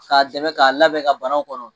K'a dɛmɛ k'a labɛ ka banaw kɔnɔ